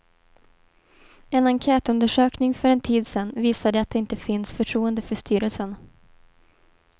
En enkätundersökning för en tid sedan visade att det inte finns förtroende för styrelsen.